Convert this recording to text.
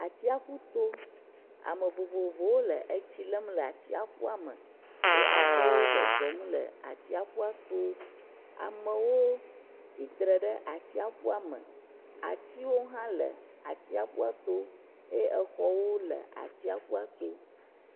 Atsiaƒu to ame vovovowo le tsi lem le atsiaƒua me eye amewo zɔzɔm le atsiaƒua to amewo tsitre ɖe atsiaƒua me, atiwo hã le atsiaƒua to eye exɔwo le atsiaƒua to.